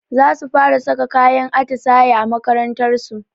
Zasu fara saka kayan atisaye a makarantarsu